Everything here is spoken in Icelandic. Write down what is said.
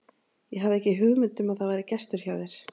Ég hafði ekki hugmynd um að það væri gestur hjá þér.